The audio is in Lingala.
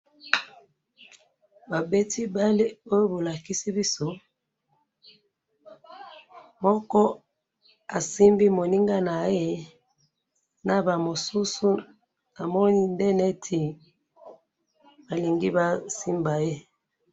babeti balle oyo bolakisi biso, moko asimbi moninga naye, naba mosusu namoni nde neti balingi basimba ye